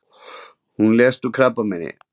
Hún lést úr krabbameini.